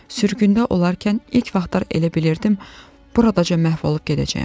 Sürgündə olarkən ilk vaxtlar elə bilirdim burada məhv olub gedəcəyəm.